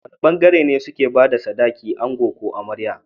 Wane bangare ne suke bada sadaki ango ko amarya?